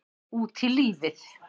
Út í lífið